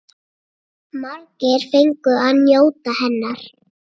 Margir fengu að njóta hennar.